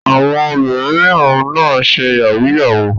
Àwọn obìnrin mìíràn náà ń ṣe yahoo yahoo.